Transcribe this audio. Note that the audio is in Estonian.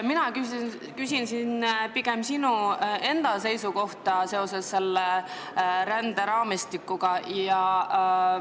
" Mina küsin pigem sinu enda seisukohta selle ränderaamistiku suhtes.